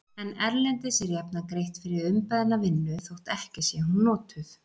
En erlendis er jafnan greitt fyrir umbeðna vinnu þótt ekki sé hún notuð.